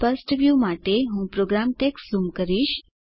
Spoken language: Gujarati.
સ્પષ્ટ વ્યુ માટે હું પ્રોગ્રામ ટેક્સ્ટ ઝૂમ કરીશ